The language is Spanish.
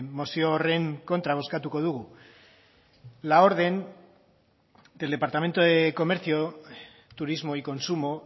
mozio horren kontra bozkatuko dugu la orden del departamento de comercio turismo y consumo